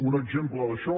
un exemple d’això